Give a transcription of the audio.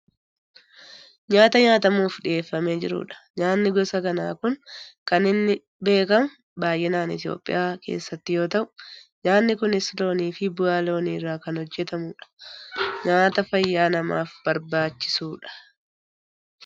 Nyaata nyaatamuuf dhiyeeffamee jiru dha. Nyaanni gosa kanaa kun kan inni beekkamu baayyinaan biyya Itoopiyaa keessatti yoo ta'u, nyaanni kunis looniifi bu'aa loonii irraa kan hojjatamudha. Nyaata fayyaa namaaf barbaachisudha.